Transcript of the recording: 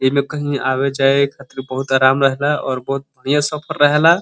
एमे कही आवे जावे खातिर बहुत आराम रहे ला और बहुत बढ़िया सफर रहेला।